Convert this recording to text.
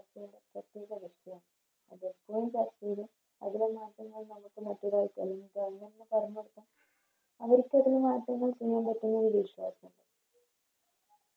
അതിലെ മാറ്റങ്ങൾ നമുക്ക് മറ്റൊരാൾക്ക് അല്ലെങ്കിൽ പറഞ്ഞുകൊടുക്കും